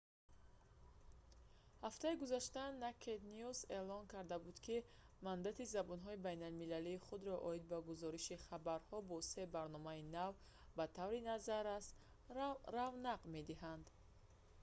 ҳафтаи гузашта «naked news» эълон карда буд ки мандати забонҳои байналмилалии худро оид ба гузориши хабарҳо бо се барномаи нав ба таври назаррас равнақ медиҳад